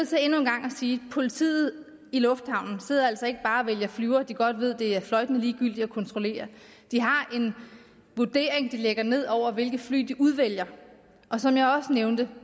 sige at politiet i lufthavnen altså ikke bare vælger flyvere de godt ved det er fløjtende ligegyldigt at kontrollere de har en vurdering de lægger ned over hvilke fly de udvælger og som jeg også nævnte